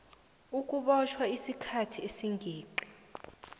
ukubotjhwa isikhathi esingeqi